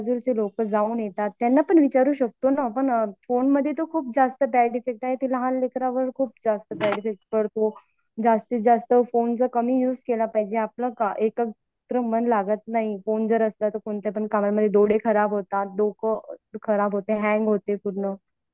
हा सर ते तर आजूबाजूचे लोक जाऊन येतात त्यांना पण विचारू शकतो ना पण फोनमध्ये तर खुप जास्त बॅड इफेक्ट आहे लहान लेकरावर खूप जास्त बॅड इफेक्ट पडतो जास्तीत जास्त फोन तर कमी युज केला पाहिजे आपण काय एक तर मन लागत नाही फोन जर असला तर कोणत्या पण कामामधे डोळे खराब होतात डोकं खराब होते हँग होते पूर्ण. फोन मधे खूप रेडीएशन असतात.